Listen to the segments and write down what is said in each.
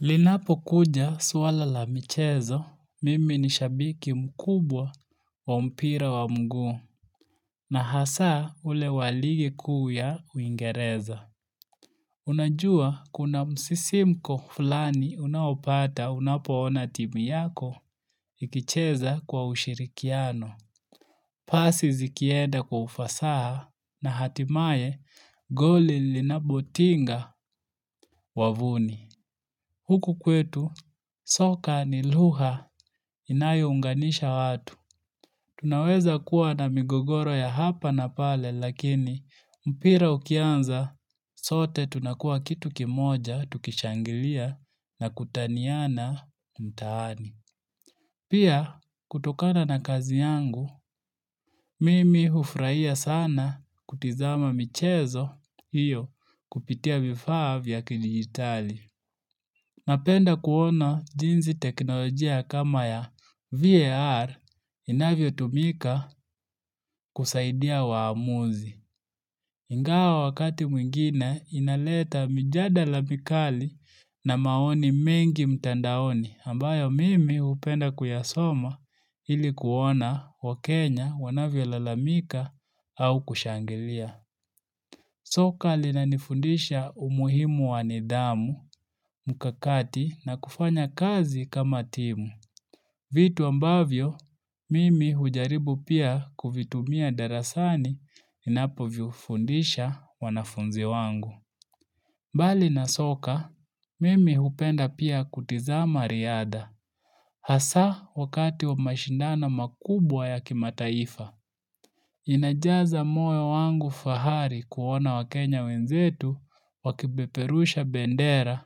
Linapo kuja suala la mchezo, mimi ni shabiki mkubwa wa mpira wa mguu. Na hasa ule wa ligi kuu ya uingereza. Unajua kuna msisimko fulani unaopata unapoona timu yako ikicheza kwa ushirikiano. Pasi zikienda kwa ufasaha na hatimaye goli linabotinga wavuni. Huku kwetu, soka ni luha inayounganisha watu. Tunaweza kuwa na migogoro ya hapa na pale lakini mpira ukianza, sote tunakua kitu kimoja tukishangilia na kutaniana mtaani. Pia, kutokana na kazi yangu, mimi hufraia sana kutizama michezo iyo kupitia vifaa vya ki-digitali. Napenda kuona jinzi teknolojia kama ya VAR inavyo tumika kusaidia waamuzi. Ingawa wakati mwingine inaleta mjadala mikali na maoni mengi mtandaoni ambayo mimi hupenda kuyasoma ilikuona wa Kenya wanavyo lalamika au kushangilia. Soka lina nifundisha umuhimu wanidamu mkakati na kufanya kazi kama timu. Vitu ambavyo, mimi hujaribu pia kuvitumia darasani inapo vifundisha wanafunzi wangu. Bali na soka, mimi hupenda pia kutizama riadha. Hasa wakati wa mashindano makubwa ya kimataifa. Inajaza moyo wangu fahari kuona wakenya wenzetu wakipeperusha bendera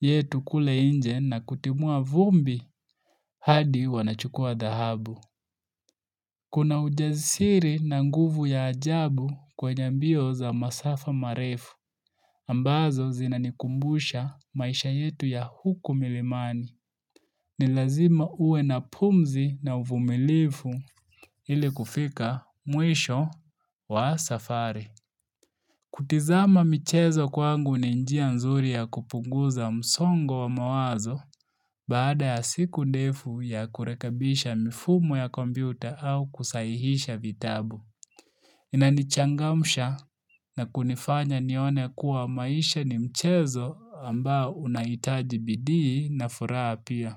yetu kule inje na kutimua vumbi hadi wanachukua dahabu. Kuna ujasiri na nguvu ya ajabu kwenye mbio za masafa marefu ambazo zinanikumbusha maisha yetu ya huku milimani. Ni lazima uwe na pumzi na uvumilifu ili kufika mwisho wa safari. Kutizama mchezo kwangu ni njia nzuri ya kupunguza msongo wa mawazo baada ya siku ndefu ya kurekebisha mifumo ya kompyuta au kusahihisha vitabu. Inanichangamsha na kunifanya nione kuwa maisha ni mchezo ambao unaitaji bidii na furaha apia.